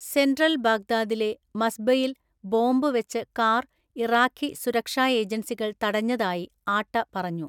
Central ബഗ്ദാദിലെ മസ്ബയിൽ bomb വെച്ച് കാർ ഇറാഖി സുരക്ഷാ ഏജൻസികൾ തടഞ്ഞതായി ആട്ട പറഞ്ഞു.